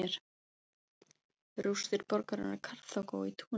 Rústir borgarinnar Karþagó í Túnis.